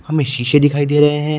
हमें शीशे दिखाई दे रहे हैं।